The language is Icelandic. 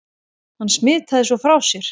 Hann smitaði svo frá sér.